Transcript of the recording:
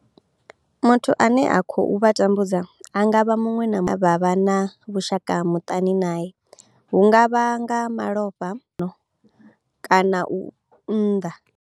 Muthu ane a khou vha tambudza a nga vha muṅwe na muṅwe ane vha vha na vhushaka muṱani nae hu nga vha nga malofha mbingano kana u unḓa.